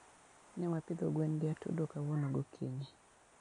Newapidho gwen gi atudo kawuono gokinyi